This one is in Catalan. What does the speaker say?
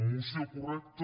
moció correcta